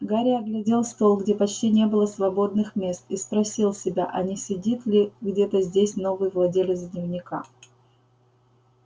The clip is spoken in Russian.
гарри оглядел стол где почти не было свободных мест и спросил себя а не сидит ли где-то здесь новый владелец дневника